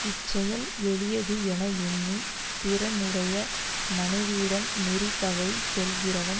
இச்செயல் எளியது என எண்ணி பிறனுடைய மனைவியிடம் நெறி தவறி செல்கிறவன்